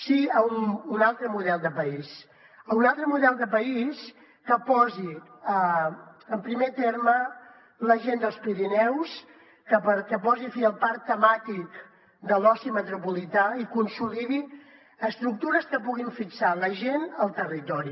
sí a un altre model de país a un altre model de país que posi en primer terme la gent dels pirineus que posi fi al parc temàtic de l’oci metropolità i consolidi estructures que puguin fixar la gent al territori